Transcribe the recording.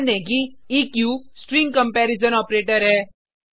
ध्यान दें कि ईक्यू स्ट्रिंग कंपेरिजन ऑपरेटर है